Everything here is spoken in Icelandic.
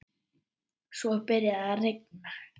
Svo byrjaði að rigna.